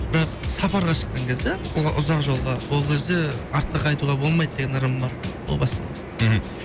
бірақ сапарға шыққан кезде ұзақ жолға ол кезде артқа қайтуға болмайды деген ырым бар о бастан мхм